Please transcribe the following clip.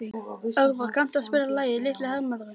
Örvar, kanntu að spila lagið „Litli hermaðurinn“?